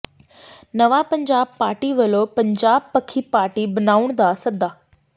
ਨਵਾਂ ਪੰਜਾਬ ਪਾਰਟੀ ਵੱਲੋਂ ਪੰਜਾਬ ਪੱਖੀ ਪਾਰਟੀ ਬਣਾਉਣ ਦਾ ਸੱਦਾ